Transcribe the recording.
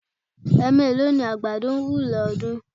Ẹ̀ẹmélòó ni àgbào ń hù ní ọdún?